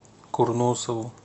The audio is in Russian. курносову